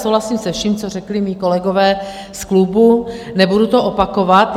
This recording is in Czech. Souhlasím se vším, co řekli mí kolegové z klubu, nebudu to opakovat.